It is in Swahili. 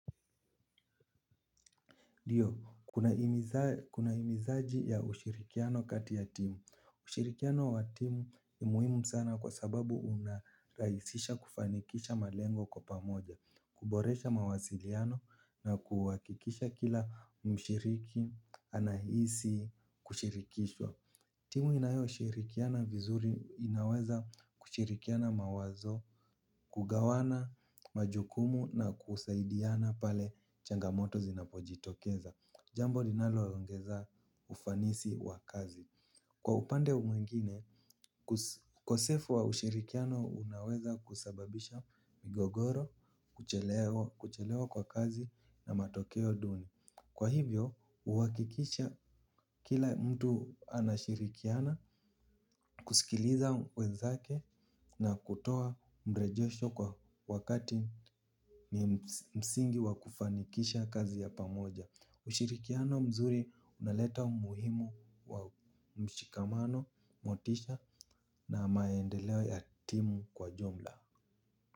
Ndio, kuna himizaji ya ushirikiano kati ya timu. Ushirikiano wa timu ni muhimu sana kwa sababu unarahisisha kufanikisha malengo kwa pamoja, kuboresha mawasiliano, na kuhakikisha kila mshiriki anahisi kushirikishwa. Timu inayo shirikiana vizuri inaweza kushirikiana mawazo, kugawana majukumu na kusaidiana pale changamoto zinapojitokeza. Jambo linalo ongeza ufanisi wa kazi. Kwa upande mwingine, ukosefu wa ushirikiano unaweza kusababisha migogoro, kuchelewa kwa kazi na matokeo dunim. Kwa hivyo, huhakikisha kila mtu anashirikiana, kusikiliza wezake na kutoa mrejesho kwa wakati msingi wa kufanikisha kazi ya pamoja. Ushirikiano mzuri unaleta umuhimu wa mshikamano, motisha na maendeleo ya timu kwa jumla.